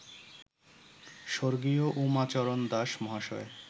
স্বর্গীয় উমাচরণ দাস মহাশয়